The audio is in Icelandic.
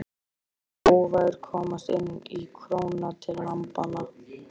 Hann vildi óvægur komast inn í króna til lambanna.